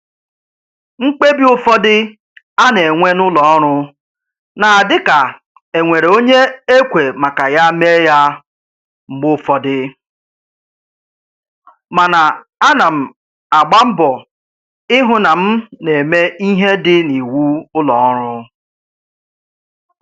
Mkpebi ụfọdụ a na-enwe n'ụlọ ọrụ na-adị ka e nwere onye e kwe maka ya mee ya mgbe ụfọdụ, mana ana m agba mbọ ịhụ na m na-eme ihe dị n'iwu ụlọ ọrụ